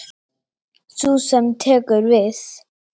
Sú sem tekur við.